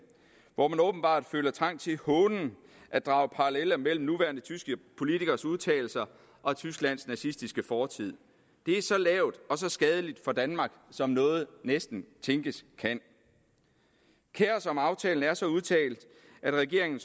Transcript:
hvor de åbenbart føler trang til hånligt at drage paralleller mellem nuværende tyske politikeres udtalelser og tysklands nazistiske fortid det er så lavt og så skadeligt for danmark som noget næsten tænkes kan kaos om aftalen er så udtalt at regeringen